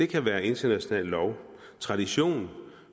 kan være international lov tradition